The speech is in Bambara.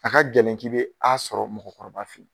A ka gɛlɛn ki bɛ A sɔrɔ mɔgɔkɔrɔba fɛ yen.